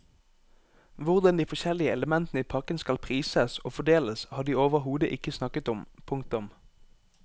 Hvordan de forskjellige elementene i pakken skal prises og fordeles har de overhodet ikke snakket om. punktum